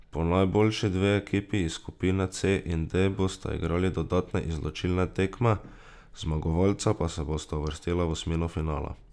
Po najboljši dve ekipi iz skupine C in D bosta igrali dodatne izločilne tekme, zmagovalca pa se bosta uvrstila v osmino finala.